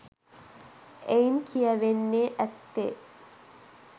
එයින් කියැවෙන්නේ ඇත්තේ